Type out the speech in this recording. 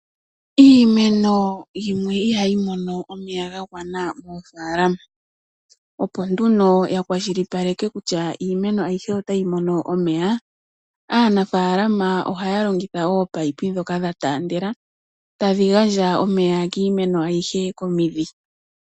Iimeno yimwe ihayi mono omeya ga gwana moofaalama. Opo nduno yakwashilipaleka kutya iimeno ayihe otayi mono omeya, aanafalama ohaya longitha ominino ndhoka dhataandela tadhi gandja omeya kiimeno ayihe komidhi.